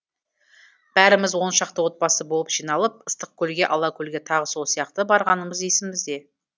бәріміз он шақты отбасы болып жиналып ыстықкөлге алакөлге тағы сол сияқты барғанымыз есімізде